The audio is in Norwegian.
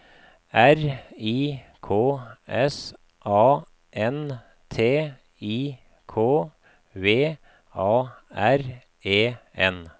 R I K S A N T I K V A R E N